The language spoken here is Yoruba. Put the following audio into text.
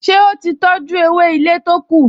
Ṣé ó ti tọjú ewé ilé to kù?